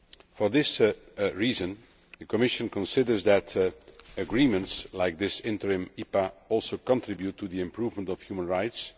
For this reason, the Commission considers that agreements like this interim EPA also contribute to the improvement of human rights.